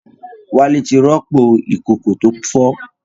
Wálé ti rọ́pò ìkòkò tó fọ́